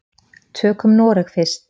Tökum Noreg fyrst.